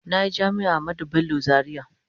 Na yi Jami’ar Ahmadu Bello Zariya.